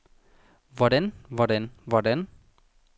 hvordan hvordan hvordan